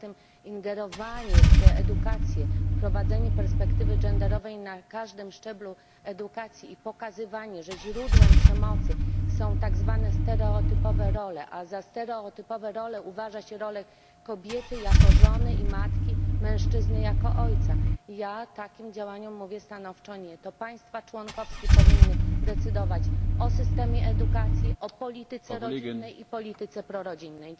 Poza tym ingerowanie w edukację, wprowadzenie perspektywy genderowej na każdym szczeblu edukacji i pokazywanie, że źródłem przemocy są tak zwane stereotypowe role, a za stereotypowe role uważa się rolę kobiety jako żony i matki, mężczyzny jako ojca ja takim działaniom mówię stanowcze nie. To państwa członkowskie powinny decydować o systemie edukacji, o polityce rodzinnej i polityce prorodzinnej.